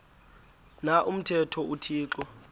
na umthetho uthixo